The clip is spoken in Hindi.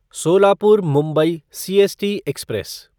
Solapur Mumbai CST express